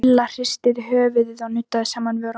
Milla hristi höfuðið og nuddaði saman vörunum.